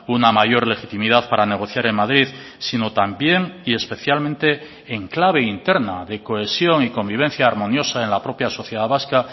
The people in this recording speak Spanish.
una mayor legitimidad para negociar en madrid sino también y especialmente en clave interna de cohesión y convivencia armoniosa en la propia sociedad vasca